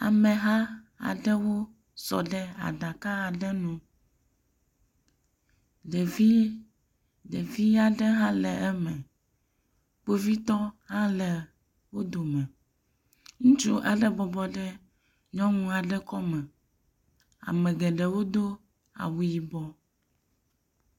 Ameha aɖewo sɔ ɖe aɖaka aɖe ŋu, ɖevi aɖe hã le eme, kpovitɔ ha le eme, ŋutsu aɖe bɔbɔ ɖe nyɔnu aɖe kɔme, ame geɖewo do awu yibɔ